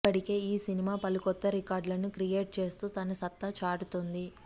ఇప్పటికే ఈ సినిమా పలు కొత్త రికార్డులను క్రియేట్ చేస్తూ తన సత్తా చాటుతోంది